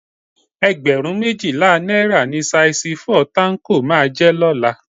Ẹgbẹ̀rún méjìlá náírà ni saisi fọ́ọ̀ táńkò máa jẹ́ lọ́la